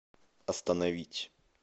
остановить